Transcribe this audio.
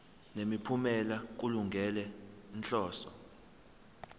nemiphumela kulungele inhloso